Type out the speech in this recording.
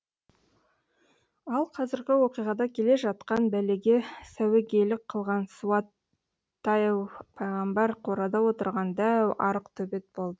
ал қазіргі оқиғада келе жатқан бәлеге сәуегейлік қылған суайттау пайғамбар қорада отырған дәу арық төбет болды